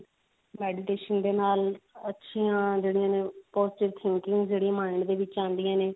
meditation ਦੇ ਨਾਲ ਅੱਛਿਆ ਜਿਹੜੀਆਂ ਨੇ positive thinking ਜਿਹੜੀ ਹੈ mind ਦੇ ਵਿੱਚ ਆਉਂਦੀਆਂ ਨੇ